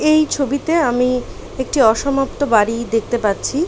এই ছবিতে আমি একটি অসমাপ্ত বাড়ি দেখতে পাচ্ছি।